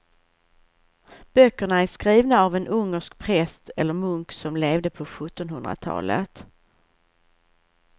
Böckerna är skrivna av en ungersk präst eller munk som levde på sjuttonhundratalet.